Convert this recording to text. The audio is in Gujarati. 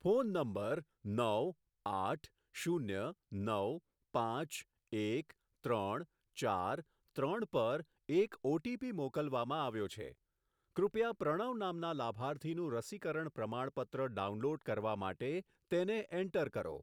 ફોન નંબર નવ આઠ શૂન્ય નવ પાંચ એક ત્રણ ચાર ત્રણ પર એક ઓટીપી મોકલવામાં આવ્યો છે, કૃપયા પ્રણવ નામના લાભાર્થીનું રસીકરણ પ્રમાણપત્ર ડાઉનલોડ કરવા માટે તેને એન્ટર કરો.